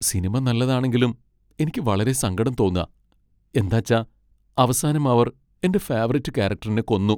Cinema നല്ലതാണെങ്കിലും എനിക്ക് വളരെ സങ്കടം തോന്നാ, എന്താച്ച അവസാനം അവർ എന്റെ ഫേവറിറ്റ് കാരക്ടറിനെ കൊന്നു.